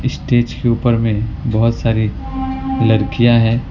Stage के ऊपर में बहोत सारी लड़कियां हैं।